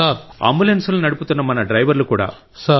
అంబులెన్స్లను నడుపుతున్న మన డ్రైవర్లు కూడా